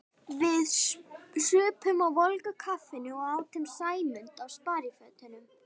Við supum á volgu kaffinu og átum Sæmund á sparifötunum.